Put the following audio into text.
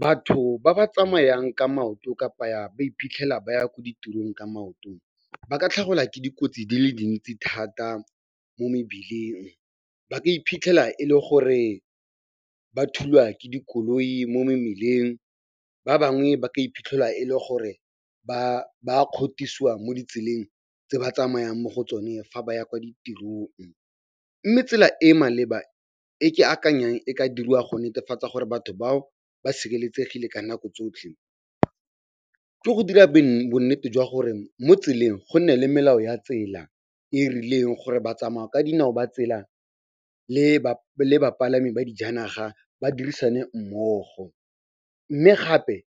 Batho ba ba tsamayang ka maoto kapa ba iphitlhela ba ya ko ditirong ka maotong ba ka tlhagelwa ke dikotsi di le dintsi thata mo mebileng. Ba ka iphitlhela e le gore ba thulwa ke dikoloi mo mmileng, ba bangwe ba ka iphitlhela e le gore ba kgothosiwa mo ditseleng tse ba tsamayang mo go tsone fa ba ya kwo ditirong. Mme tsela e e maleba e ke akanyang e ka diriwa go netefatsa gore batho bao ba sireletsegile ka nako tsotlhe ke go dira bonnete jwa gore mo tseleng go nne le melao ya tsela e e rileng gore ba tsamaya ka dinao ba tsela le bapalami ba dijanaga ba dirisane mmogo. Mme gape